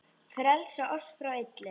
Frelsa oss frá illu!